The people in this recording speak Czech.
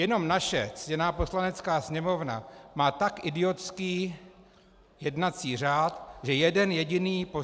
Jenom naše ctěná Poslanecká sněmovna má tak idiotský jednací řád, že jeden jediný poslanec -